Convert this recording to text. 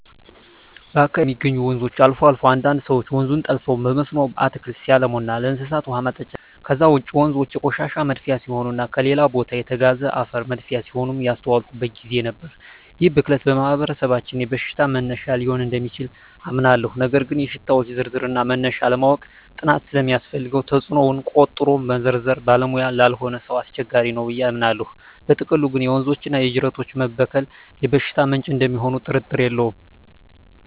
በአካባቢየ የሚገኙ ወንዞች አልፎ አልፎ አንዳንድ ሰወች ወንዙን ጠልፈው በመስኖ አትክልት ሲያለሙና ለእንስሳት ውሃ ማጠጫ ሲጠቀሙ አያለሁ። ከዛ ውጭ ወንዞ የቆሻሻ መድፊያ ሲሆኑና ከሌላ ቦታ የተጋዘ አፈር መድፊያ ሲሆኑም ያስተዋልኩበት ግዜ ነበር። ይህ ብክለት በማህበረሰባችን የበሽታ መነሻ ሊሆን እደሚችል አምናለሁ ነገር ግን የሽታወች ዝርዝርና መነሻ ለማወቅ ጥናት ስለሚያስፈልገው ተጽኖውን ቆጥሮ መዘርዘር ባለሙያ ላልሆነ ሰው አስቸጋሪ ነው ብየ አምናለው። በጥቅሉ ግን የወንዞችና የጅረቶች መበከል የበሽታ ምንጭ እደሚሆኑ ጥርጥር የለውም።